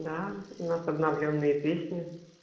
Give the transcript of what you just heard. да у нас обновлённые песни